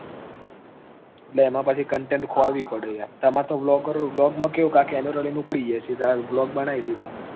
એટલે એમાં પછી content ખોરવી પડે તમાર તો blogger blog માં કેવું camera લઈને ઉપડી ગયા blog બનાઈ દીધો